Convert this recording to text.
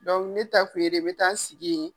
ne ta kun ye de n bi taa n sigi yen.